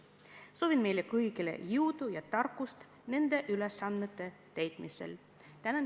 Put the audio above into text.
Soovin meile kõigile jõudu ja tarkust nende ülesannete täitmisel!